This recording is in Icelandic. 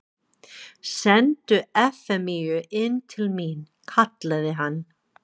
Sendu Efemíu inn til mín, kallaði hann.